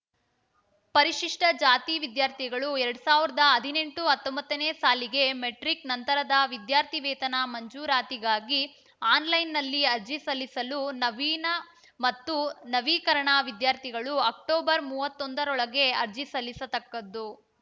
ಪರಿಶಿಷ್ಟಜಾತಿ ವಿದ್ಯಾರ್ಥಿಗಳು ಎರಡ್ ಸಾವಿರದ ಹದಿನೆಂಟು ಹತ್ತೊಂಬತ್ತನೇ ಸಾಲಿಗೆ ಮೆಟ್ರಿಕ್‌ ನಂತರದ ವಿದ್ಯಾರ್ಥಿ ವೇತನ ಮಂಜೂರಾತಿಗಾಗಿ ಆನ್‌ಲೈನ್‌ನಲ್ಲಿ ಅರ್ಜಿ ಸಲ್ಲಿಸಲು ನವೀನ ಮತ್ತು ನವೀಕರಣ ವಿದ್ಯಾರ್ಥಿಗಳು ಅಕ್ಟೋಬರ್ ಮೂವತ್ತೊಂದರೊಳಗೆ ಅರ್ಜಿ ಸಲ್ಲಿಸತಕ್ಕದ್ದು